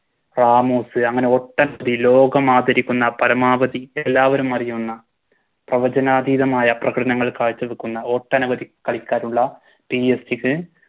വാമോസ് അങ്ങനെ ഒട്ടനവധി ലോകമാദരിക്കുന്ന പരമാവധി എല്ലാവരുമറിയുന്ന പ്രവചനാതീതമായ പ്രകടനങ്ങൾ കാഴ്ച്ച വെക്കുന്ന ഒട്ടനവധി കളിക്കാരുള്ള PSG ക്ക്